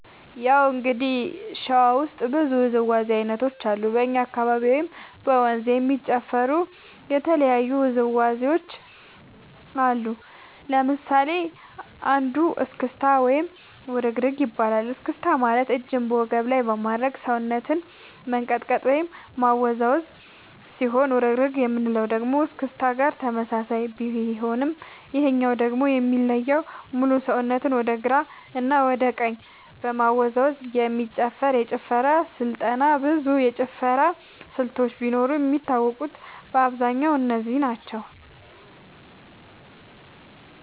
ያው እንግዲህ ሸዋ ውስጥ ብዙ ውዝዋዜ ዐይነቶች አሉ በኛ አካባቢ ወይም በ መንዝ የሚጨፈሩ የተለያዩ ውዝዋዜዎች አሉ ለምሳሌ አንዱ እስክታ ወይም ውርግርግ ይባላል እስክስታ ማለት እጅን በወገብ ላይ በማድረግ ሰውነትን መንቀጥቀጥ ወይም ማወዛወዝ ሲሆን ውርግርግ የምንለው ደግሞ እስክስታ ጋር ተመሳሳይነት ቢኖረውም ይሄኛው ደግሞ የሚለየው ሙሉ ሰውነትን ወደ ግራ እና ወደ ቀኝ በመወዛወዝ የሚጨፈር የጭፈራ ስልጠና ብዙ የጭፈራ ስልቶች ቢኖርም የሚታወቁት በአብዛኛው እነዚህ ናቸው።